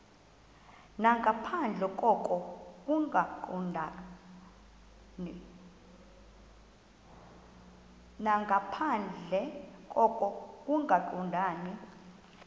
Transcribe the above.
nangaphandle koko kungaqondani